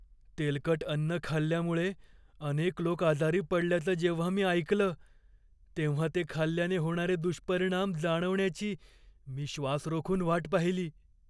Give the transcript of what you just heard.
तेलकट अन्न खाल्ल्यामुळे अनेक लोक आजारी पडल्याचं जेव्हा मी ऐकलं, तेव्हा ते खाल्ल्याने होणारे दुष्परिणाम जाणवण्याची मी श्वास रोखून वाट पाहिली.